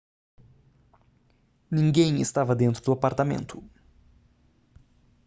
ninguém estava dentro do apartamento